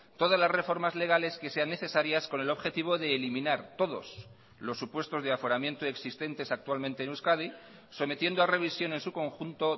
todas las reformas legales que sean necesarias con el objetivo de eliminar todos los supuestos de aforamiento existentes actualmente en euskadi sometiendo a revisión en su conjunto